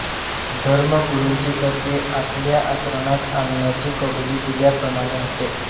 धर्मगुरूंची तत्त्वे आपाल्या आचरणात आणण्याची कबुली दिल्याप्रमाणे होते